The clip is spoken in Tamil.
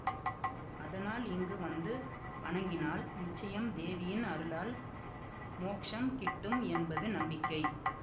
அதனால் இங்கு வந்து வணங்கினால் நிச்சயம் தேவியின் அருளால் மோக்ஷம் கிட்டும் என்பது நம்பிக்கை